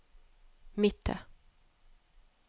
Mittet